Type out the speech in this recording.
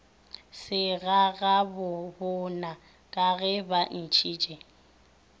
segagabobona ka ge ba ntšhitše